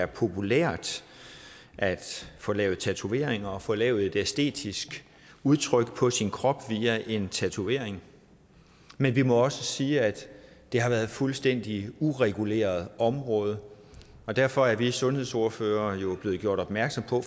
populært at få lavet tatoveringer få lavet et æstetisk udtryk på sin krop via en tatovering men vi må også sige at det har været et fuldstændig ureguleret område og derfor er vi sundhedsordførere jo blevet gjort opmærksom på